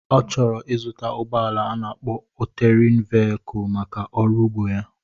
Ọ chọrọ ịzụta ụgbọala a na-akpo ọtérén véyikul maka ọrụ ugbo ya